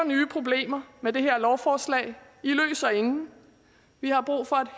nye problemer med det her lovforslag i løser ingen vi har brug for